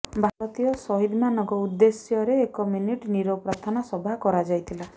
ଭାରତୀୟ ସହିଦ ମାନଙ୍କ ଉଦେ୍ଧଶ୍ୟରେ ଏକ ମିନିଟ୍ ନିରବ ପ୍ରାର୍ଥନା ସଭା କରାଯାଇଥିଲା